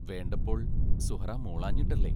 വേണ്ടപ്പോൾ സുഹ്റാ മൂളാഞ്ഞിട്ടല്ലേ?